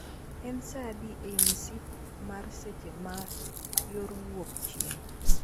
En saa adi ei msip mar seche ma yor wuok chieng